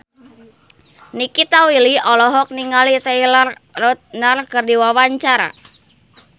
Nikita Willy olohok ningali Taylor Lautner keur diwawancara